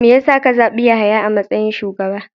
Me ya sa ka zabi Yahaya a matsayin shugaba?